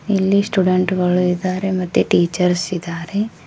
ಇಲ್ಲಿ ಸ್ಟೂಡೆಂಟ್ ಗಳು ಇದ್ದಾರೆ ಮತ್ತೆ ಟೀಚರ್ಸ್ ಇದ್ದಾರೆ.